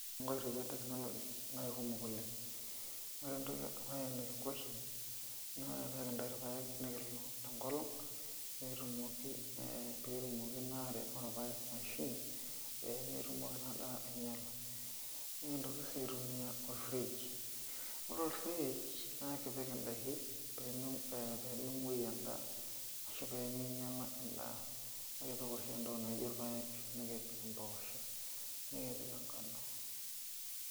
Nkoitoi e technology na kumok oleng ore entoki edukuya nikingo oshi na kintau irpaek nikilok tenkolong petumi naa atoi irpaek ashu pemetumoki na ainyala, nintoki si aitumia or fridge ore or fridge na ekipik ndakin pemengueyu endaa ashu peminyala endaa na ekipik oshi entoki naijo irpaek ,ompoosho nikipik enkano.